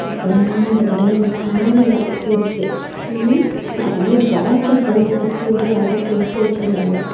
அப்புறமா அந்த கடையில ஒரு ஃபேன் இருக்கு ம் நெறைய பாட்சஸ் எல்லாம் அந்த கூண்டில் அடுக்கு அடுக்கி வெச்சிருக்காங்க.